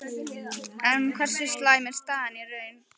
En hversu slæm er staðan í raun?